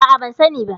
A'a, ban sani ba.